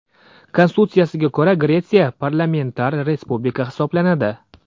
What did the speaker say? Konstitutsiyasiga ko‘ra, Gretsiya parlamentar respublika hisoblanadi.